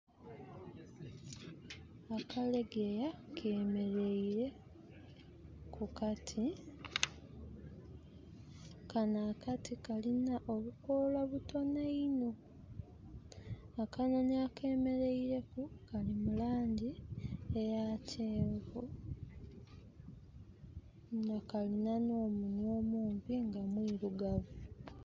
Akalegeya kemereire ku kati. Kano akati kalina obukoola butono inho. Akanoni akemereileku kali mulangi eya kyenvu nga kalina omunwa mumpi nga mwirugavu.